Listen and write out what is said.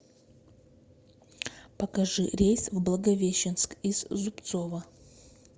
покажи рейс в благовещенск из зубцова